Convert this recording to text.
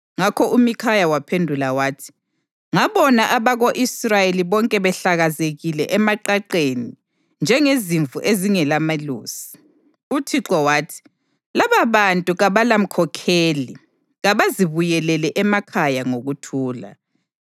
Ngakho uMikhaya waphendula wathi, “Ngabona abako-Israyeli bonke behlakazekile emaqaqeni njengezimvu ezingelamelusi, uThixo wathi, ‘Lababantu kabalamkhokheli. Kabazibuyelele emakhaya ngokuthula.’ ”